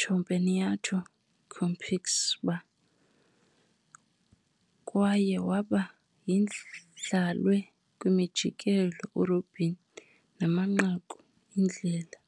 Campeonato Capixaba, kwaye waba idlalwe kwi-umjikelo-robin kuba amanqaku iindlela.